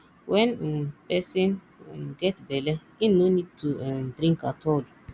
when um person um get bele im no need to um drink at all